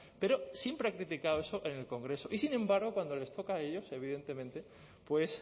pero siempre ha criticado eso en el congreso y sin embargo cuando les toca a ellos evidentemente pues